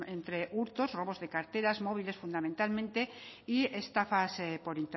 entre hurtos robos de carteras móviles fundamentalmente y estafas por